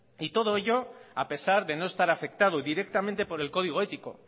y todo ello a pesar de no estar afectado directamente por el código ético